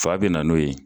Fa bɛna n'o ye